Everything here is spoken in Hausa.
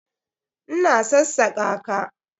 Ina sassaka ka.